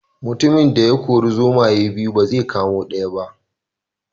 Mutumin da ya kori zomaye biyu ba zai kama ko daya ba